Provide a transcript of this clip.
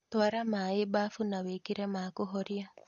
Twara maĩ bafu na wĩkĩre ma kũhoria